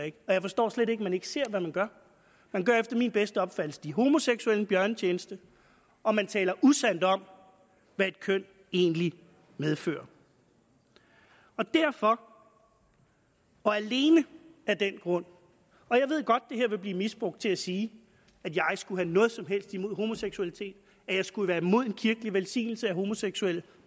ikke og jeg forstår slet ikke at man ikke ser hvad man gør man gør efter min bedste opfattelse de homoseksuelle en bjørnetjeneste og man taler usandt om hvad et køn egentlig medfører derfor og alene af den grund og jeg ved godt at det her vil blive misbrugt til at sige at jeg skulle have noget som helst imod homoseksualitet at jeg skulle være imod en kirkelig velsignelse af homoseksuelle